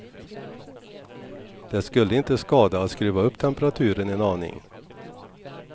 Det skulle inte skada att skruva upp temperaturen en aning.